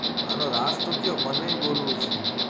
મારો રાજ તો કયો મને બોલવું છે